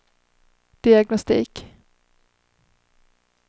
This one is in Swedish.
diagnostik